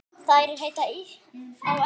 Þær heita á ensku